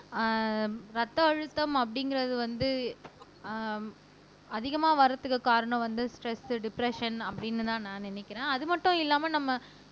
அஹ் ரத்த அழுத்தம் அப்படிங்கறது வந்து அஹ் அதிகமா வர்றதுக்குக் காரணம் வந்து ஸ்ட்ரெஸ் டிப்ரெஸ்ஸன் அப்படின்னுதான் நான் நினைக்கிறேன் அது மட்டும் இல்லாம நம்ம